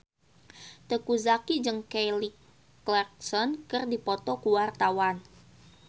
Teuku Zacky jeung Kelly Clarkson keur dipoto ku wartawan